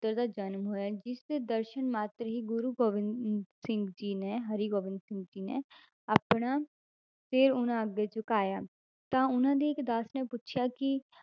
~ਤਰ ਦਾ ਜਨਮ ਹੋਇਆ, ਜਿਸਦੇ ਦਰਸਨ ਮਾਤਰ ਹੀ ਗੁਰੂ ਗੋਬਿੰਦ ਸਿੰਘ ਜੀ ਨੇ ਹਰਿਗੋਬਿੰਦ ਸਿੰਘ ਜੀ ਨੇ ਆਪਣਾ ਤੇ ਉਹਨਾਂ ਅੱਗੇ ਝੁਕਾਇਆ ਤਾਂ ਉਹਨਾਂ ਦੇ ਇੱਕ ਦਾਸ ਨੇ ਪੁੱਛਿਆ ਕਿ